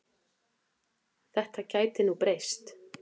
Þetta gæti nú breyst.